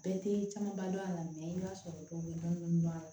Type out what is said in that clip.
Bɛɛ tɛ camanba dɔn a la i b'a sɔrɔ dɔw bɛ dɔnni dɔn